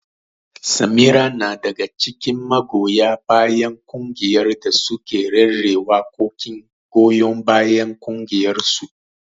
Samira na daga cikin magoya bayan kungiyar da suke rera waƙoƙin goyon bayan ƙungiyarsu.